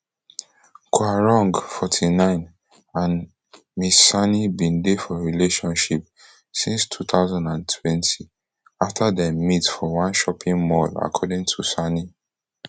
quarong forty-nine and ms sani bin dey for relationship since two thousand and twenty afta dem meet for one shopping mall according to sani